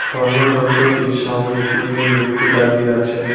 অন্য যন্ত্রটির সামনে তিনজন ব্যক্তি দাঁড়িয়ে আছে।